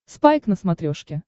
спайк на смотрешке